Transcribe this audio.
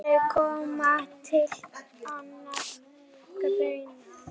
Aldrei kom annað til greina.